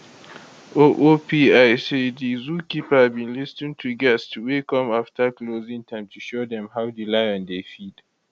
oopl say di zookeeper bin lis ten to guests wey come afta closing time to show dem how di lion dey feed